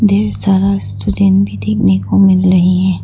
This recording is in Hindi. ढेर सारा सीलिंग भी देखने को मिल रही है।